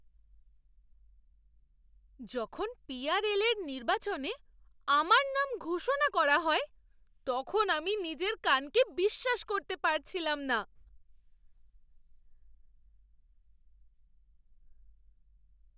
যখন P R L এর নির্বাচনে আমার নাম ঘোষণা করা হয়, তখন আমি নিজের কানকে বিশ্বাস করতে পারছিলাম না!